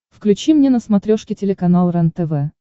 включи мне на смотрешке телеканал рентв